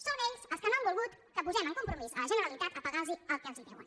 són ells els que no han volgut que posem en compromís la generalitat per pagar·los el que els deuen